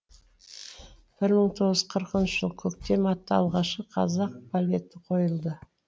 бір мың тоғыз жүз қырқыншы жылы көктем атты алғашқы қазақ балеті қойылды